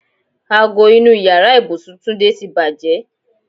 Ago inú ìyára ibùsùn Túndé ti bàjẹ́.